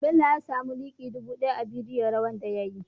Bello ya samu like dubu daya a bidiyo rawar da yayi